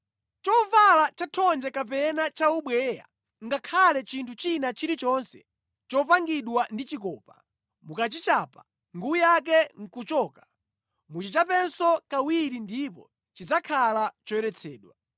Chovala chathonje kapena chaubweya, ngakhale chinthu china chilichonse chopangidwa ndi chikopa, mukachichapa nguwi yake nʼkuchoka muchichapenso kawiri ndipo chidzakhala choyeretsedwa.”